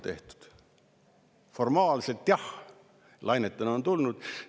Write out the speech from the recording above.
Formaalselt jah, lainetena on need tulnud.